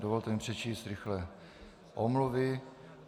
Dovolte mi přečíst rychle omluvy.